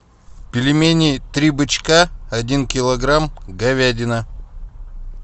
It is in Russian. пельмени три бычка один килограмм говядина